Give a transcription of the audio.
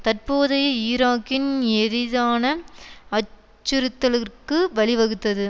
தற்போதைய ஈராக்கின் எரிதான அச்சுறுத்தலர்க்கு வழிவகுத்தது